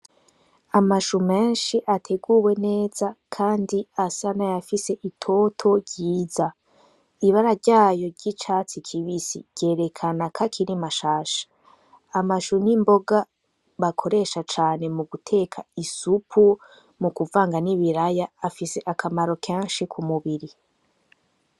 Amashu menshi ateguwe neza, kandi asana yafise itoto ryiza ibara ryayo ry'icatsi kibisi ryerekana ko akirimashasha amashu n'imboga bakoresha cane mu guteka isupu mu kuvanga n'i bilaya afise akamaro kenshiko umubiri.